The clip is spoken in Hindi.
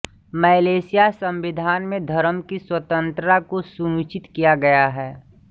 मलेशियाई संविधान में धर्म की स्वतंत्रता को सुनिश्चित किया गया है